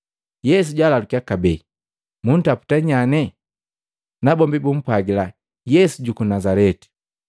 Yesu jaalalukiya kabee, “Muntaputa nyane?” Nabombi bumpwagila, “Yesu juku Nazaleti!”